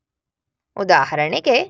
ಉದಾಹರಣೆಗೆ